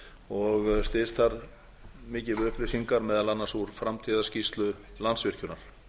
og styðst þar mikið við upplýsingar meðal annars úr framtíðarskýrslu landsvirkjunar